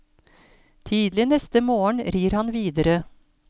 Tidlig neste morgen rir han videre.